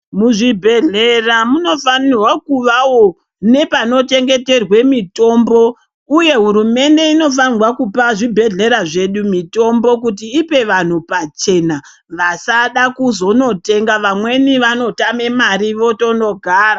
Muzvibhehleya munofanerwa kuvawo nepano chengeterwa mitombo uye hurumende inofanira kupa zvibhehleya zvedu mitombo kuti ipe vanhu pachena vasada kuzonotenga vamweni vanotame mari votonogara.